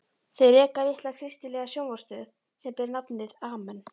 Þau reka litla kristilega sjónvarpsstöð sem ber nafnið Amen.